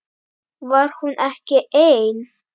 Var hún ekki ein?